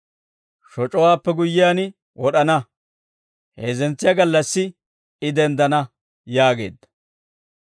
shoc'owaappe guyyiyaan wod'ana, heezzentsiyaa gallassi I denddana» yaageedda.